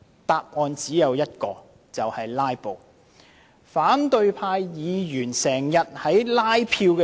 答案只有一個，就是他們想"拉布"。